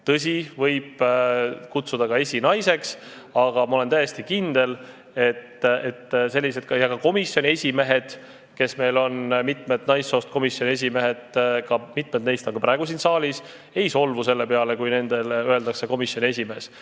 Tõsi, teda võib nimetada ka esinaiseks, aga ma olen täiesti kindel, et mitmed komisjoni esimehed, kes on meil naissoost – mõni on praegugi siin saalis –, ei solvu selle peale, kui nende kohta öeldakse komisjoni esimees.